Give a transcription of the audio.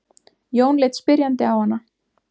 Jón leit spyrjandi á hana.